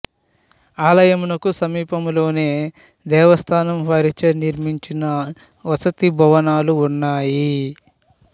ఆలయంనకు సమీపంలోనే దేవస్థానం వారిచే నిర్మించిన వసతి భవనాలు ఉన్నాయి